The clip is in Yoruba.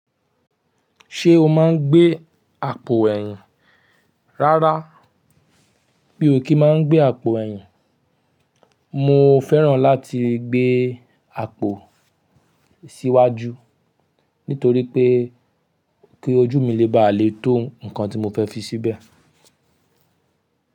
Ṣé o máa ń gbé àpò ẹ̀yìn? Rárá, mí ò kí máa ń gbé àpò ẹ̀yìn, mo fẹ́ràn láti gbé àpò síwájú nítorí pé kí ojú mi lè ba lè tó nnkan tí mo fẹ́ fi síbẹ̀.